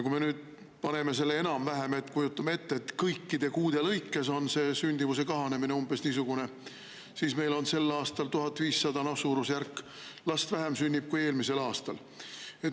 Kui me kujutame ette, et umbes niisugune on sündimuse kahanemine kõikide kuude lõikes, siis meil sünnib sel aastal suurusjärgus 1500 last vähem kui eelmisel aastal.